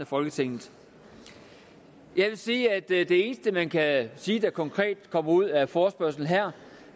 folketinget jeg vil sige at det det eneste man kan sige der konkret kommer ud af forespørgslen her